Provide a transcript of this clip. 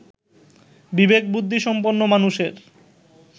বিবেকবুদ্ধিসম্পন্ন মানুষের